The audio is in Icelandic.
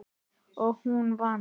Og hún vann.